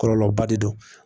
Kɔlɔlɔba de don